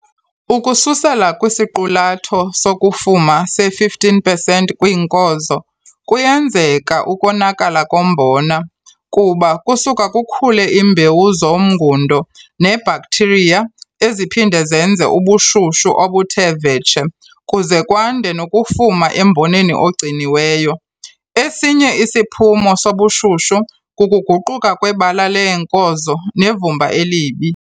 Ukususela kwisiqulatho sokufuma se-15 pesenti kwiinkozo, kuyenzeka ukonakala kombona kuba kusuka kukhule iimbewu zomngundo neebhaktiriya eziphinda zenze ubushushu obuthe vetshe kuze kwande nokufuma emboneni ogciniweyo. Esinye isiphumo sobushushu kukuguquka kwebala leenkozo nevumba elibi.